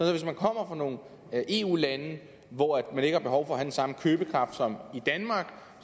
at hvis man kommer fra nogle eu lande hvor man ikke har behov for at have den samme købekraft som i danmark